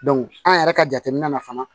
an yɛrɛ ka jateminɛ na fana